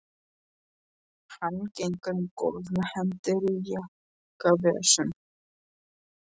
Hann gengur um gólf með hendur í jakkavösunum.